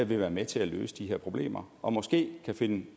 vil være med til at løse de her problemer og måske kan finde